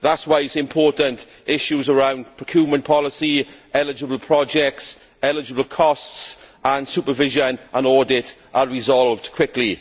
That is why it is important that issues around procurement policy, eligible projects, eligible costs, supervision and audit are resolved quickly.